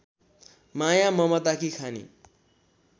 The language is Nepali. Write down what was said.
माया ममताकी खानी